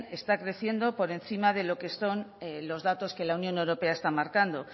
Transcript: está creciendo por encima de lo que son los datos que la unión europea está marcando